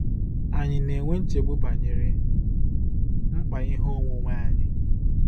Ànyị na-enwe nchegbu banyere mkpa ihe onwunwe anyị?